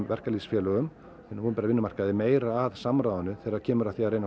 verkalýðsfélögum á hinum opinbera vinnumarkaði meira að samráðinu þegar kemur að því að